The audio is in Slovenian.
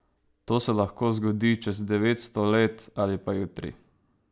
To se lahko zgodi čez devetsto let ali pa jutri.